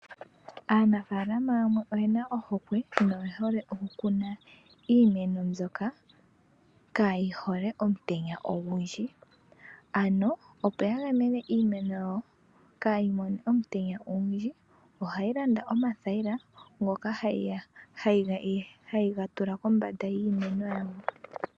Aanafalama yamwe oyena ohokwe, noye hole okukuna iimeno mbyoka kaayi hole omutenya ogundji. Ano opo ya gamene iimeno yawo, kaayi mone omutenya ogundji, ohaya landa omathayila, ngoka hayega tula kombanda yiimeno yawo.